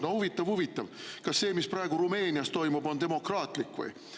No huvitav-huvitav, kas see, mis praegu Rumeenias toimub, on demokraatlik või?